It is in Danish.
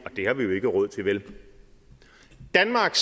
det har vi jo ikke råd til vel danmark